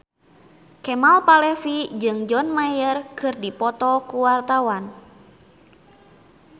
Kemal Palevi jeung John Mayer keur dipoto ku wartawan